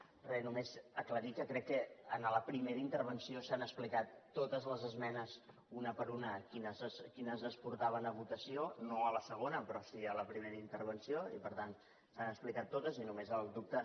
res només aclarir que crec que en la primera intervenció s’han explicat totes les esmenes una per una quines es portaven a votació no a la segona però sí a la primera intervenció i per tant s’han explicat totes i només el dubte